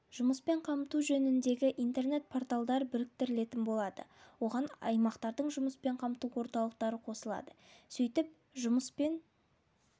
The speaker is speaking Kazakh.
жұмыспен қамту жөніндегі интернет порталдар біріктірілетін болады оған аймақтардың жұмыспен қамту орталықтары қосылады сөйтіп жұмыспен